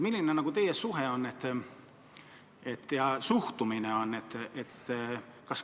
Milline teie suhtumine on?